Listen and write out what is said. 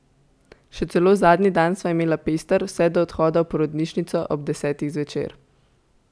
Še celo zadnji dan sva imela pester, vse do odhoda v porodnišnico ob desetih zvečer.